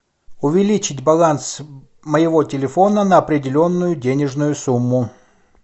увеличить баланс моего телефона на определенную денежную сумму